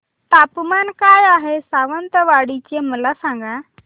तापमान काय आहे सावंतवाडी चे मला सांगा